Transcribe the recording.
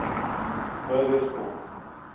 bugersfort